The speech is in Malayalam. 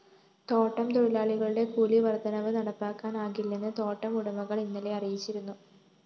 തോട്ടം തൊഴിലാളികളുടെ കൂലിവര്‍ദ്ധനവ് നടപ്പാക്കാനാകില്ലെന്ന് തോട്ടം ഉടമകള്‍ ഇന്നലെ അറിയിച്ചിരുന്നു